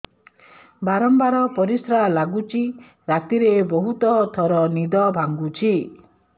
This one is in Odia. ବାରମ୍ବାର ପରିଶ୍ରା ଲାଗୁଚି ରାତିରେ ବହୁତ ଥର ନିଦ ଭାଙ୍ଗୁଛି